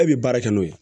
E bɛ baara kɛ n'o ye